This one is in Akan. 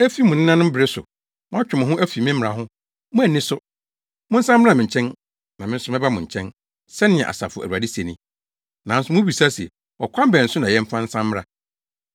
Efi mo nenanom bere so moatwe mo ho afi me mmara ho, moanni so. Monsan mmra me nkyɛn, na me nso mɛba mo nkyɛn,” sɛnea Asafo Awurade se ni. “Nanso mubisa se, ‘Ɔkwan bɛn so na yɛmfa nsan mmra?’